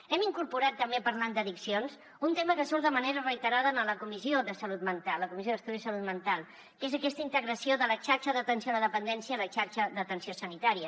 hem incorporat també parlant d’addiccions un tema que surt de manera reiterada en la comissió de salut mental la comissió d’estudi sobre la salut mental que és aquesta integració de la xarxa d’atenció a la dependència a la xarxa d’atenció sanitària